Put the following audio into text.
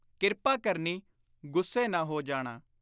ਕਿਰਪਾ ਕਰਨੀ, ਗੁੱਸੇ ਨਾ ਹੋ ਜਾਣਾ।